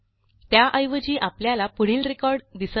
त्याऐवजी आपल्याला पुढील रेकॉर्ड दिसत आहे